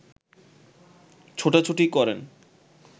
ছোটাছুটি করেন